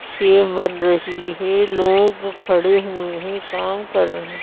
save बन रही है लोग खड़े हुए हैं काम कर रहे--